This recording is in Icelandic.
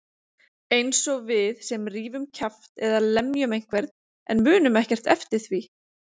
Einsog við sem rífum kjaft eða lemjum einhvern en munum ekkert eftir því.